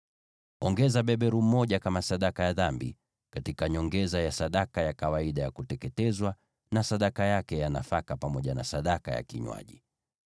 Weka beberu mmoja kama sadaka ya dhambi, kwa nyongeza ya kawaida ya sadaka ya kuteketezwa, na sadaka yake ya nafaka, pamoja na sadaka zao za vinywaji.